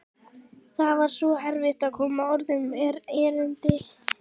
Það var svo erfitt að koma orðum að erindinu.